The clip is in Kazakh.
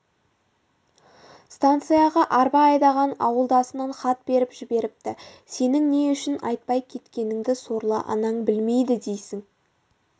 станцияға арба айдаған ауылдасынан хат беріп жіберіпті сенің не үшін айтпай кеткеніңді сорлы анаң білмейді дейсің